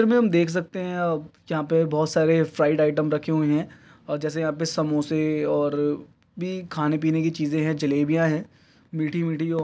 यहाँं पे हम देख सकते है अ यहाँं पे बोहोत सारे फ्राइड आइटम रखे हुए हैं और जैसे यहाँं पे समोसे और भी खाने पीने की चीज़े हैं जलेबियाँ हैं मीठी मीठी और --